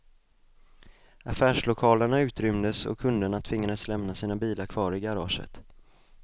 Affärslokalerna utrymdes och kunderna tvingades lämna sina bilar kvar i garaget.